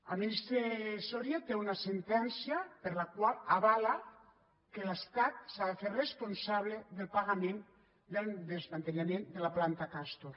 el ministre soria té una sentència per la qual avala que l’estat s’ha de fer responsable del pagament del desmantellament de la planta castor